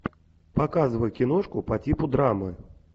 показывай киношку по типу драмы